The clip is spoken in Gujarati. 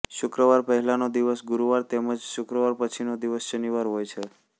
શુક્રવાર પહેલાંનો દિવસ ગુરુવાર તેમ જ શુક્રવાર પછીનો દિવસ શનિવાર હોય છે